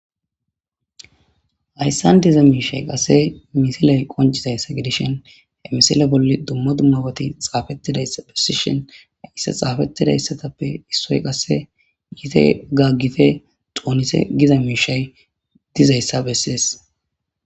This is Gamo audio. Hayssan diza miishshay qasse misilan qonccizayssa gidishin he misile bolli dumma dummabati xaafetidayssa bessishin hayssa xaafetidayssatappe issoy qasse yiite gaaggite xoonite giza miishshay dizayssa besses.